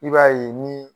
I b'a ye ni